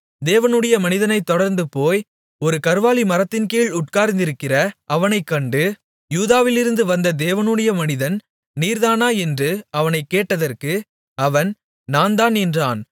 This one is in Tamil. தேவனுடைய மனிதனைத் தொடர்ந்துபோய் ஒரு கர்வாலி மரத்தின்கீழ் உட்கார்ந்திருக்கிற அவனைக் கண்டு யூதாவிலிருந்து வந்த தேவனுடைய மனிதன் நீர்தானா என்று அவனைக் கேட்டதற்கு அவன் நான்தான் என்றான்